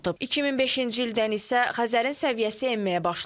2005-ci ildən isə Xəzərin səviyyəsi enməyə başlayıb.